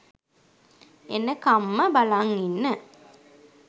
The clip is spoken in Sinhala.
එනකම්ම බලන් ඉන්න